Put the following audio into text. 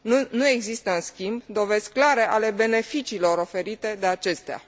Nu există, în schimb, dovezi clare ale beneficiilor oferite de acestea.